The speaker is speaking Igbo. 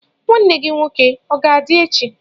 Nwanne gi nwoke ọ ga-adị echi?